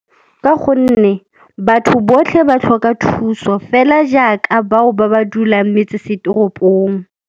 Ka gonne batho botlhe ba tlhoka thuso fela jaaka bao ba ba dulang ko metsesetoropong.